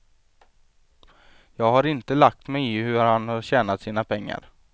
Jag har inte lagt mig i hur han har tjänat sina pengar.